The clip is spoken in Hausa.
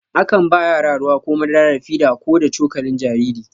A kan ba yara ruwa ko madara da fida ko da cokalin jariri.